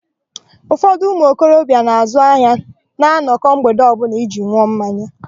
Ụfọdụ ụmụokorobịa na-azụ ahịa na-anọkọ mgbede ọbụla iji n̄ụọ mmanya.